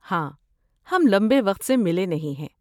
ہاں، ہم لمبے وقت سے ملے نہیں ہیں۔